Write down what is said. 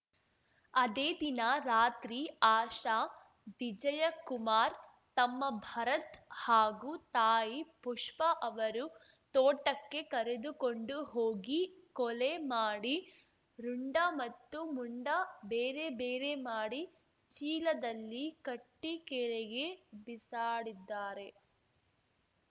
ಅದೇ ದಿನ ರಾತ್ರಿ ಆಶಾ ವಿಜಯಕುಮಾರ್‌ ತಮ್ಮ ಭರತ್‌ ಹಾಗೂ ತಾಯಿ ಪುಷ್ಪ ಅವರು ತೋಟಕ್ಕೆ ಕರೆದುಕೊಂಡು ಹೋಗಿ ಕೊಲೆ ಮಾಡಿ ರುಂಡ ಮತ್ತು ಮುಂಡ ಬೇರೆ ಬೇರೆ ಮಾಡಿ ಚೀಲದಲ್ಲಿ ಕಟ್ಟಿಕೆರೆಗೆ ಬೀಸಾಡಿದ್ದಾರೆ